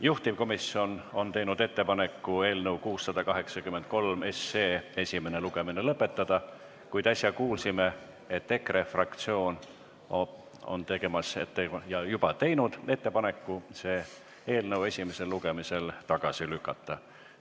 Juhtivkomisjon on teinud ettepaneku eelnõu 683 esimene lugemine lõpetada, kuid nagu äsja kuulsime, EKRE fraktsioon on teinud ettepaneku see eelnõu esimesel lugemisel tagasi lükata.